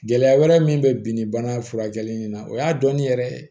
Gɛlɛya wɛrɛ min bɛ bi ni bana furakɛli in na o y'a dɔnni yɛrɛ